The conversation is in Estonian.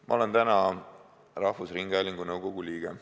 Ma olen rahvusringhäälingu nõukogu liige.